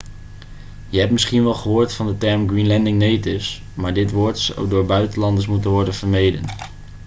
je hebt misschien wel gehoord van de term greenlandic natives maar dit woord zou door buitenlanders moeten worden vermeden